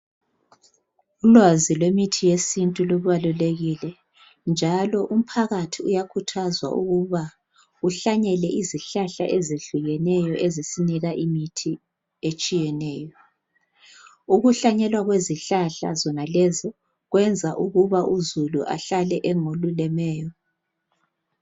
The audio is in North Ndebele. Ulwazi lwemithi yesintu lubalulekile njalo umphakathi uyakhuthazwa ukuba uhlanyele izihlahla ezihlukeneyo ezisinika imithi etshiyeneyo. Ukuhlanyelwa kwezihlahla zonalezi kwenza ukuba uzulu ahlale engolulemeyo